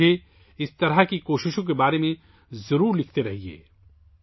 آپ مجھے ایسی کوششوں کے بارے میں لکھتے رہیں